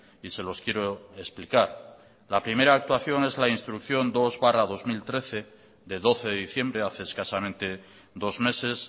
y se los quiero explicar la primera actuación es la instrucción dos barra dos mil trece de doce de diciembre hace escasamente dos meses